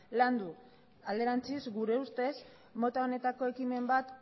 landu alderantziz gure ustez mota honetako ekimen bat